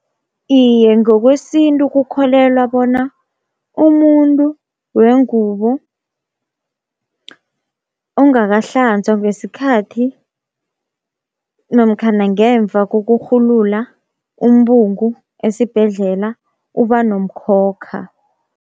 Iye ngokwesintu kukholelwa bona umuntu wengubo ongakahlanzwa ngesikhathi namkhana ngemva kokurhulula umbungu esibhedlela uba nomkhokha.